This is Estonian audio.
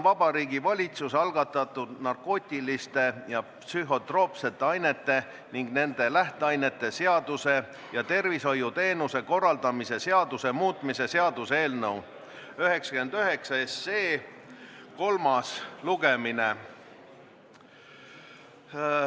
Vabariigi Valitsuse algatatud narkootiliste ja psühhotroopsete ainete ning nende lähteainete seaduse ja tervishoiuteenuste korraldamise seaduse muutmise seaduse eelnõu 99 kolmas lugemine.